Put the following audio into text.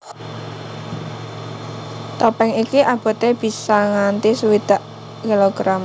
Topèng iki aboté bisa nganti swidak kilogram